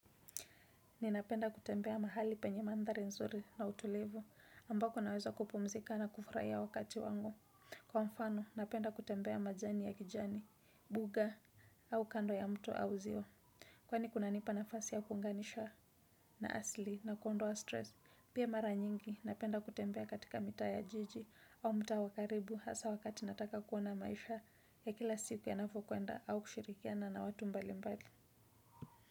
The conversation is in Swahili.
Ninapenda kutembea mahali penye mandhari nzuri na utulivu ambako naweza kupumzika na kufurahia wakati wangu. Kwa mfano, napenda kutembea majani ya kijani, buga au kando ya mto au ziwa. Kwani kuna nipa nafasi ya kuunganisha na asli na kuondoa stress. Pia mara nyingi, napenda kutembea katika mita ya jiji au mta wakaribu hasa wakati nataka kuona maisha ya kila siku yanavyo kwenda au kushirikiana na watu mbali mbali.